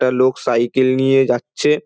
একটা লোক সাইকেল নিয়ে যাচ্ছে।